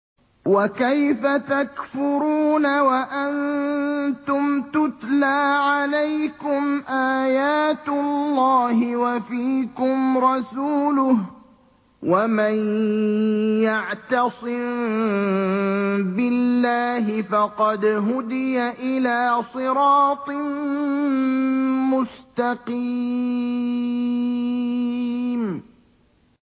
وَكَيْفَ تَكْفُرُونَ وَأَنتُمْ تُتْلَىٰ عَلَيْكُمْ آيَاتُ اللَّهِ وَفِيكُمْ رَسُولُهُ ۗ وَمَن يَعْتَصِم بِاللَّهِ فَقَدْ هُدِيَ إِلَىٰ صِرَاطٍ مُّسْتَقِيمٍ